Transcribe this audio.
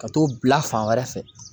Ka t'o bila fan wɛrɛ fɛ